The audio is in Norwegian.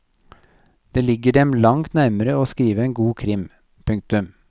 Det ligger dem langt nærmere å skrive en god krim. punktum